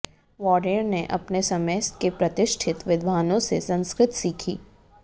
warrior ने अपने समय के प्रतिष्ठित विद्वानों से संस्कृत सीखी